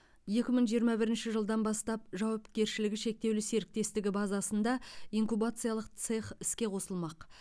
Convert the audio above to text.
екі мың жиырма бірінші жылдан бастап жауапкершілігі шектеулі серіктестігі базасында инкубациялық цех іске қосылмақ